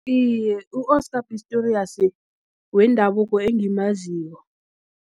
Iye, u-Oscar Pistorius, wendabuko engimaziyo.